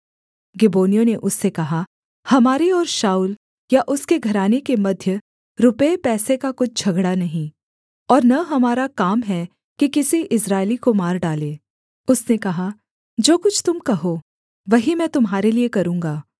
गिबोनियों ने उससे कहा हमारे और शाऊल या उसके घराने के मध्य रुपये पैसे का कुछ झगड़ा नहीं और न हमारा काम है कि किसी इस्राएली को मार डालें उसने कहा जो कुछ तुम कहो वही मैं तुम्हारे लिये करूँगा